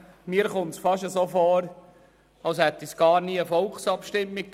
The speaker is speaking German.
Mir kommt es fast so vor, als hätte es gar nie eine Volksabstimmung gegeben.